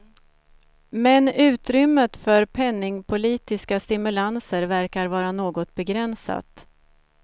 Men utrymmet för penningpolitiska stimulanser verkar vara något begränsat.